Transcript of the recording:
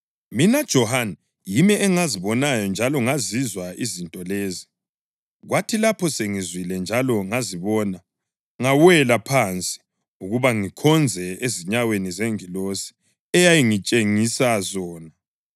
Mina Johane, yimi engazibonayo njalo ngazizwa izinto lezi. Kwathi lapho sengizwile njalo ngazibona, ngawela phansi ukuba ngikhonze ezinyaweni zengilosi eyayingitshengisa zona.